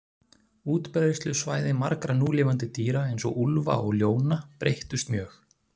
Útbreiðslusvæði margra núlifandi dýra, eins og úlfa og ljóna, breyttust mjög.